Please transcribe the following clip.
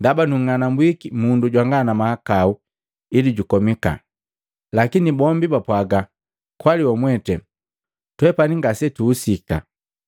ndaba nung'anambwiki mundu jwanga mahakau ili jukomika.” Lakini bombi bapwaga, “Kwali wamwete, twepani ngasetuhusika.”